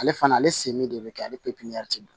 Ale fana ale sen bɛ kɛ ale